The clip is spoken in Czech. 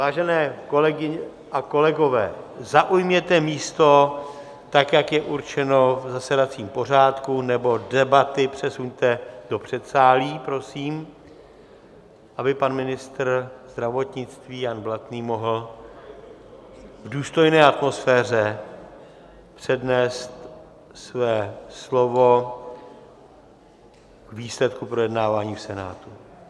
Vážené kolegyně a kolegové, zaujměte místo, tak jak je určeno v zasedacím pořádku, nebo debaty přesuňte do předsálí, prosím, aby pan ministr zdravotnictví Jan Blatný mohl v důstojné atmosféře přednést své slovo k výsledku projednávání v Senátu.